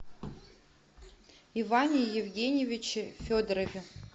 иване евгеньевиче федорове